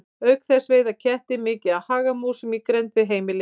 Auk þess veiða kettir mikið af hagamúsum í grennd við heimili.